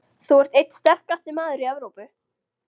Þú ert einn sterkasti maður í Evrópu.